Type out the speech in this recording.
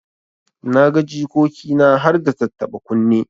Na ga jikoki na harda tattaba kunne.